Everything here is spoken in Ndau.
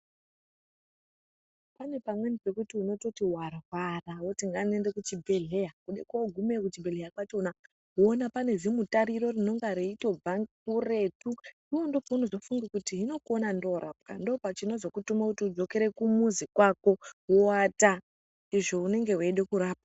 Kune pamweni pekuti unototi warwara woti ngandiende kuchibhedhleya wogume kuchibhedhleya kwakona woona kuti kune zimutariro rinonga reitobva nekuretu ngekuretu iwewe ndoopaunozofunga kuti hino kuona ndoorapwa ndoochinozokutuma udzokere kumuzi kwako woata izvo unenge weida kurapwa.